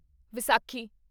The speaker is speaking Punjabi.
ਵਿਸਾਖੀ